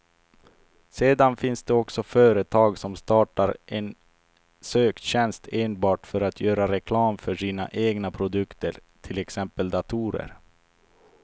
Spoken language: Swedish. Sedan finns det också företag som startar en söktjänst enbart för att göra reklam för sina egna produkter, till exempel datorer.